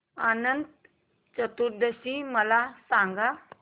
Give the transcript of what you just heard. अनंत चतुर्दशी मला सांगा